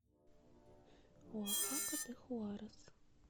оахака де хуарес